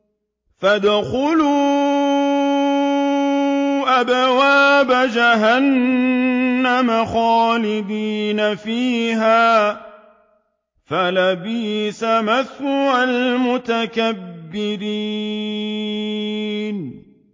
فَادْخُلُوا أَبْوَابَ جَهَنَّمَ خَالِدِينَ فِيهَا ۖ فَلَبِئْسَ مَثْوَى الْمُتَكَبِّرِينَ